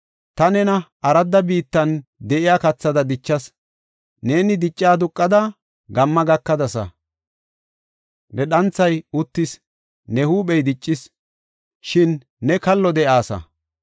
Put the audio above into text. Ta nena aradda biittan de7iya kathada dichas. Neeni dicca aduqada, gamma gakadasa. Ne dhanthay uttis; ne huuphey diccis; shin ne kallo de7aasa.